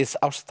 af stað